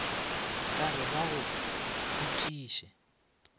ka re ba go khutiše